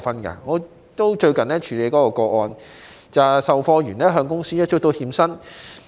我最近也曾處理一宗個案，售貨員向公司追討欠薪。